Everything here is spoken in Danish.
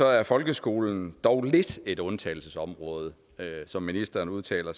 er folkeskolen dog lidt et undtagelsesområde som ministeren udtaler